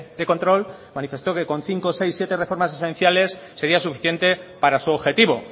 de control manifestó que con cinco seis siete reformas esenciales sería suficiente para su objetivo